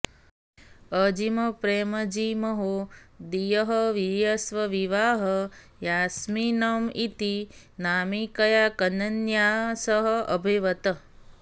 अजिमप्रेमजीमहोदयःवर्यस्य विवाहः यास्मिन् इति नामिकया कन्यया सह अभवत्